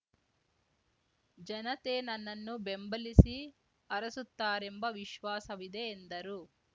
ಜನತೆ ನನ್ನನ್ನು ಬೆಂಬಲಿಸಿ ಹರಸುತ್ತಾರೆಂಬ ವಿಶ್ವಾಸವಿದೆ ಎಂದರು